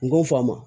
N ko n fa ma